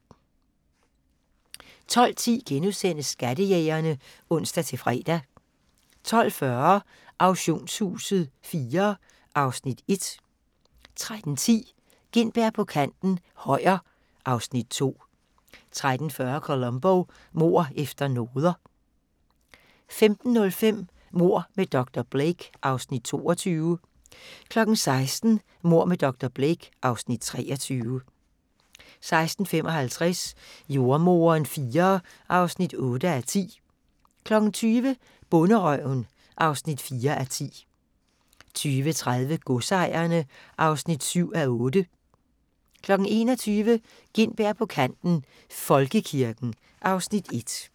12:10: Skattejægerne *(ons-fre) 12:40: Auktionshuset IV (Afs. 1) 13:10: Gintberg på kanten - Højer (Afs. 2) 13:40: Columbo: Mord efter noder 15:05: Mord med dr. Blake (Afs. 22) 16:00: Mord med dr. Blake (Afs. 23) 16:55: Jordemoderen IV (8:10) 20:00: Bonderøven (4:10) 20:30: Godsejerne (7:8) 21:00: Gintberg på kanten - Folkekirken (Afs. 1)